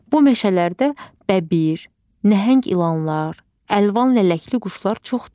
Bu meşələrdə bəbir, nəhəng ilanlar, əlvan lələkli quşlar çoxdur.